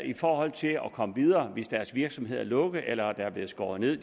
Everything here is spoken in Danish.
i forhold til at komme videre hvis deres virksomhed er lukket eller der er blevet skåret ned